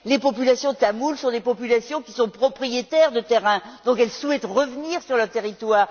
Les populations tamoules sont des populations qui sont propriétaires de terrains. Elles souhaitent donc revenir sur leur territoire.